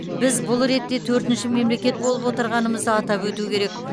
біз бұл ретте төртінші мемлекет болып отырғанымызды атап өту керек